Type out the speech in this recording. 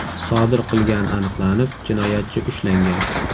sodir qilgani aniqlanib, jinoyatchi ushlangan.